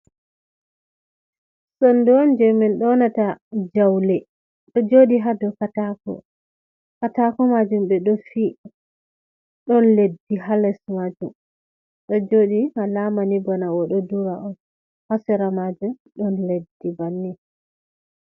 Sondu on je min yoonata jaule ɗo joɗi ha dou katako. Katako majum ɓe ɗo fii, ɗon leddi ha les majum. Ɗo joɗi alamani bana oɗo dura on ha sera majum ɗon leddi bannin.